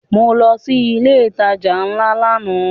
Mo lọ sí ilé ìtajà ńlá lánàá